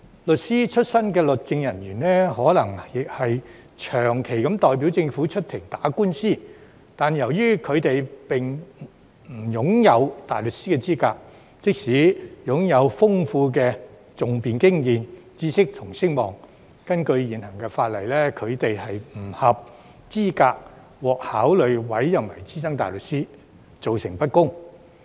律師出身的律政人員或許長期代表政府出庭打官司，但由於他們並不擁有大律師資格，即使擁有豐富的訟辯經驗、知識和聲望，根據現行法例，亦不合資格獲考慮委任為資深大律師，造成不公。